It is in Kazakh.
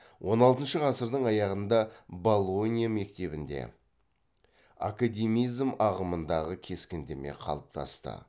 он алтыншы ғасырдың аяғында болонья мектебінде академизм ағымындағы кескіндеме қалыптасты